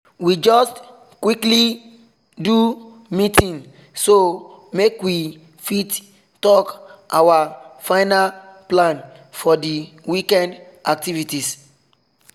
we just quick do meeting so make we fit talk our final plan for the weekend activities